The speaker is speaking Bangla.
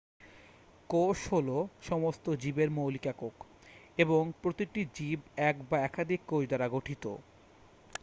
কোষ হলো সমস্ত জীবের মৌলিক একক এবং প্রতিটি জীব এক বা একাধিক কোষ দ্বারা গঠিত